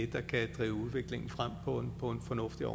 der kan drive udviklingen frem på en fornuftig og